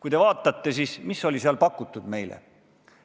Mida seal on meile pakutud?